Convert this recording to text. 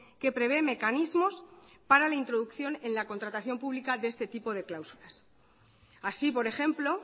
que prevé mecanismos para la introducción en la contratación pública de este tipo de cláusulas así por ejemplo